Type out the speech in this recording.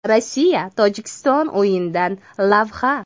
Rossiya – Tojikiston o‘yinidan lavha.